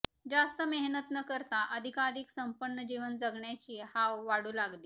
जास्त मेहनत न करता अधिकाधिक संपन्न जीवन जगण्याची हाव वाढू लागली